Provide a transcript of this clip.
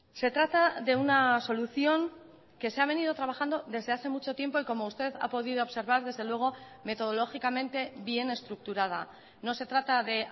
se trata de una solución que se ha venido trabajando desde hace mucho tiempo y como usted ha podido observar desde luego metodológicamente bien estructurada no se trata de